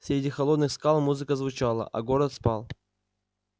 среди холодных скал музыка звучала а город спал